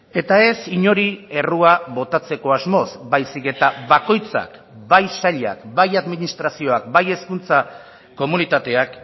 eta ez inori errua botatzeko asmoz baizik eta bakoitzak bai sailak bai administrazioak bai hezkuntza komunitateak